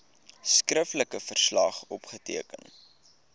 skriftelike verslag opgeteken